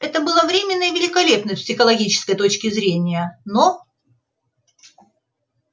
это было временно и великолепно с психологической точки зрения но